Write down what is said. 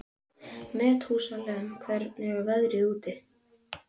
Methúsalem, hvernig er veðrið úti?